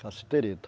Cassiterita.